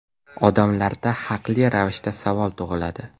Odamlarda haqli ravishda savol tug‘iladi.